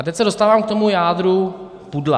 A teď se dostávám k tomu jádru pudla.